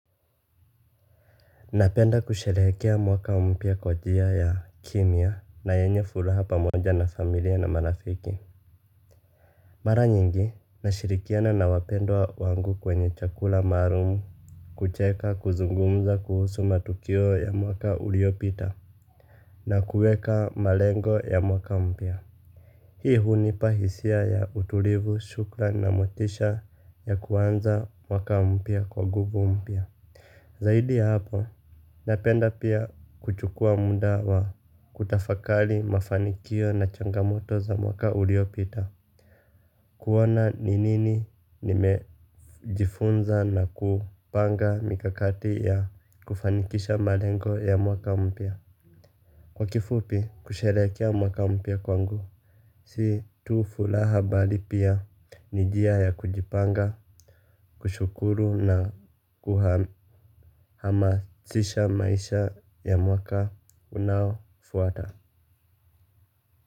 Napenda kusherekea mwaka mpya kwa njia ya kimya na yenye furaha pamoja na familia na marafiki. Mara nyingi, nashirikiana na wapendwa wangu kwenye chakula maalumu. Kucheka, kuzungumza kuhusu matukio ya mwaka uliopita na kuweka malengo ya mwaka mpya. Hii hunipa hisia ya utulivu, shukran na motisha ya kuanza mwaka mpya kwa nguvu mpya. Zaidi ya hapo, napenda pia kuchukua muda wa kutafakali mafanikio na changamoto za mwaka uliopita. Kuona ni nini nimejifunza na kupanga mikakati ya kufanikisha malengo ya mwaka mpya. Kwa kifupi kusherekea mwaka mpia kwangu si tu furaha bali pia ni njia ya kujipanga, kushukuru na kuhamasisha maisha ya mwaka unaofuata.